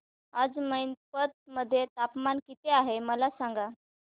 आज मैनपत मध्ये तापमान किती आहे मला सांगा